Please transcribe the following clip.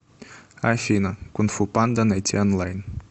афина кун фу панда найти онлайн